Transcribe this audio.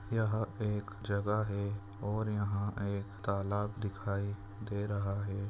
यह एक जगह है और यह एक तालाब दिखाई दे रहा है।